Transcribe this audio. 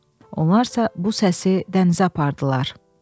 Onlarsa bu səsi dənizə apardılar.